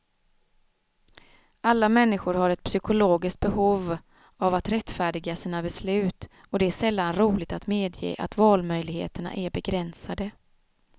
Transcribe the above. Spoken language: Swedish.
Alla människor har ett psykologiskt behov av att rättfärdiga sina beslut, och det är sällan roligt att medge att valmöjligheterna är begränsade.